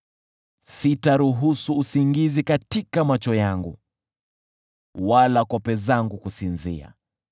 sitaruhusu usingizi katika macho yangu, wala kope zangu kusinzia,